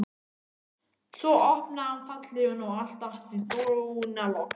Svo opnaði hann fallhlífina og allt datt í dúnalogn.